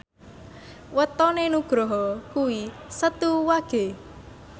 wetone Nugroho kuwi Setu Wage